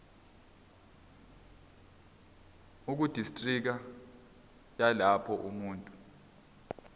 ekudistriki yalapho umuntu